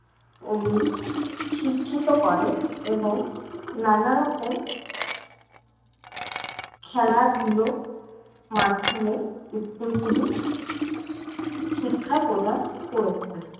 উহ শিক্ষিত করে এবং নানারকম খেলাধুলোর মাধ্যমে school গুলি শিক্ষা প্রদান করেছে।